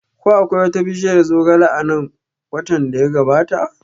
Ko akwai wata bishiyar zogale a nan watan da ya gabata?